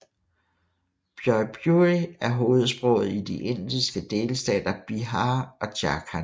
Bhojpuri er hovedsproget i de indiske delstater Bihar og Jharkhand